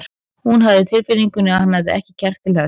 Hún hafði á tilfinningunni að hann hefði ekki kjark til þess.